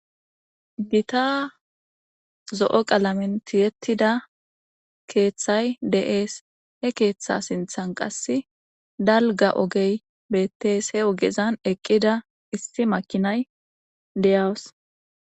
Gita zo'o qalamintiyettida keeththay de'ees he keeththa sinthan qass dalga ogey beettees he ogezan eqqida isti makinay deyaws.